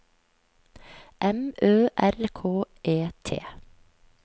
M Ø R K E T